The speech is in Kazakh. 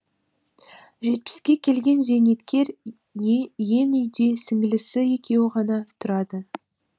жетпіске келген зейнеткер ен үйде сіңлісі екеуі ғана тұрады